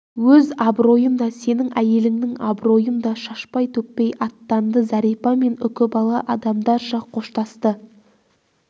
өз абыройын да сенің әйеліңнің абыройын да шашпай-төкпей аттанды зәрипа мен үкібала адамдарша қоштасты